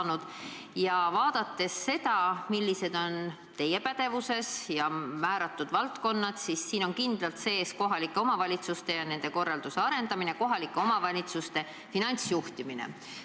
Kui vaadata, millised valdkonnad on teie pädevuses, siis näeme, et nende hulgas on kindlalt kohalike omavalitsuste ja nende korralduste arendamine, kohalike omavalitsuste finantsjuhtimine.